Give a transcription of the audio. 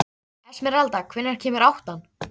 Esmeralda, hvenær kemur áttan?